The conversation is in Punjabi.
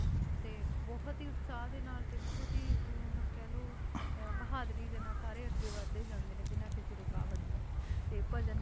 ਤੇ ਬਹੁੁਤ ਹੀ ਉਤਸਾਹ ਦੇ ਨਾਲ ਤੇ ਬਹੁਤ ਹੀ ਅਹ ਕਹਿ ਲਓ ਅਹ ਬਹਾਦਰੀ ਦੇ ਨਾਲ ਸਾਰੇ ਅੱਗੇ ਵੱਧਦੇ ਜਾਂਦੇ ਨੇ ਬਿਨਾਂ ਕਿਸੇ ਰੁਕਾਵਟ ਤੋਂ ਤੇ ਭਜਨ